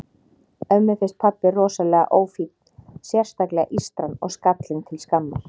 Ömmu finnst pabbi rosalega ófínn, sérstaklega ístran og skallinn til skammar.